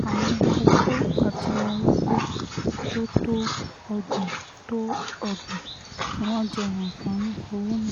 àwọn opó àti arúgbó tó tó ọgbọ̀n tó ọgbọ̀n ni wọ́n jẹ́ àǹfààní owó náà